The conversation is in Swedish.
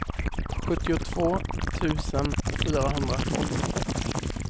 sjuttiotvå tusen fyrahundratolv